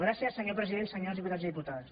gràcies senyor president senyors diputats i diputades